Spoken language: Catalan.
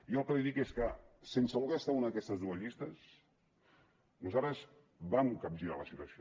jo el que li dic és que sense voler estar en una d’aquestes dues llistes nosaltres vam capgirar la situació